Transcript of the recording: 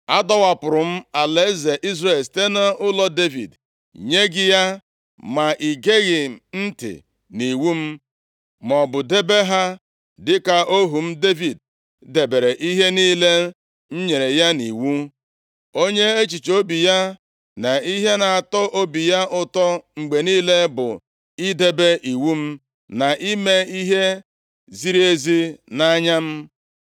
Adọwapụrụ m alaeze Izrel site nʼụlọ Devid nye gị ya, ma ị geghị ntị nʼiwu m, maọbụ debe ha dịka ohu m Devid debere ihe niile m nyere ya nʼiwu. Onye echiche obi ya na ihe na-atọ obi ya ụtọ mgbe niile bụ idebe iwu m, na ime ihe ziri ezi nʼanya m.